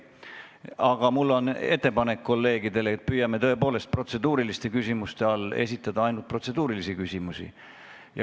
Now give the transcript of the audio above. Aga mul on ettepanek kolleegidele, et püüame tõepoolest protseduuriliste küsimuste all esitada ainult protseduurilisi küsimusi.